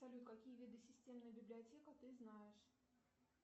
салют какие виды системная библиотека ты знаешь